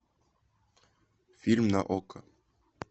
фильм на окко